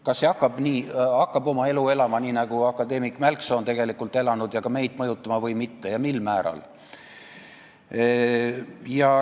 Kas see asi hakkab oma elu elama, nii nagu akadeemik Mälksoo on tegelikult väitnud, ja ka meid mõjutama või mitte ja kui, siis mil määral.